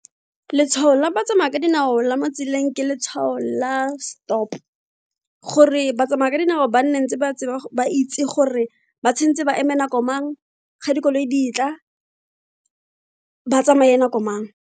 Letshwao la batsamaya ka dinao la mo tseleng ke letshwao la stop gore ba tsamaya ka dinao ba nne ntse ba ntse ba itse gore ba tshwanetse ba eme nako mang ga dikoloi di tla ba tsamaye nako mang.